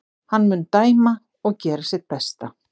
Hann mun dæma og gera sitt besta.